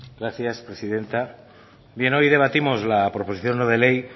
gracias presidenta bien hoy debatimos la proposición no de ley